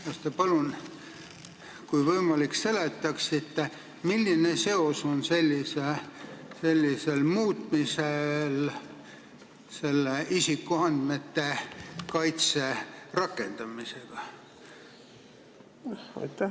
Kas te palun, kui võimalik, seletaksite, milline seos on sellisel muutmisel isikuandmete kaitse rakendamisega?